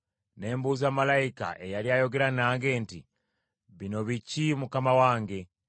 Ne mbuuza malayika eyali ayogera nange nti, “Bino biki mukama wange?”